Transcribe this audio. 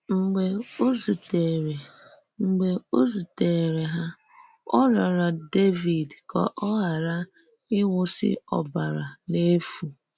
Mgbe ò zùtèrè Mgbe ò zùtèrè hà, ò rịọrọ Dèvíd ka ò ghàrà ịwụ́sị ọ̀bàrà n’efu.